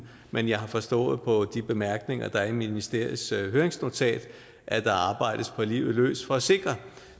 men jeg har forstået på de bemærkninger der er i ministeriets høringsnotat at der arbejdes på livet løs for at sikre